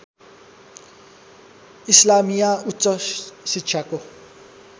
इस्लामिया उच्च शिक्षाको